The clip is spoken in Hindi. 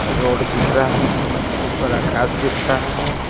रोड दिख रहा है ऊपर आकाश दिख रहा --